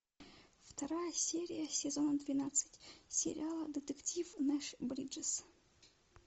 вторая серия сезон двенадцать сериала детектив нэш бриджес